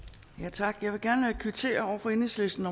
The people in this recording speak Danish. tak jeg vil gerne kvittere over for enhedslisten